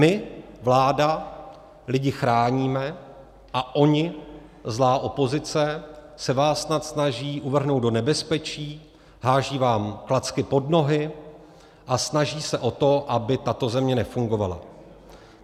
My, vláda, lidi chráníme a oni, zlá opozice, se vás snad snaží uvrhnout do nebezpečí, hází vám klacky pod nohy a snaží se o to, aby tato země nefungovala.